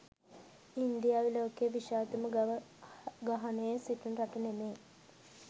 ඉන්දියාව ලොකයේ විශාලතම ගව ගහණය සිටින රට නෙමෙයි